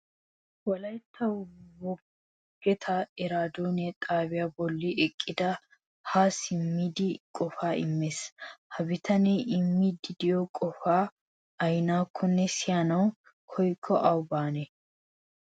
Wolaytta wogeta iraadone xaabiya bolla eqqidi ha simmddi qofa immes. Ha bitanee immidi de'iyo qofay aynnakonne siyanaw koyyikko awu baanee?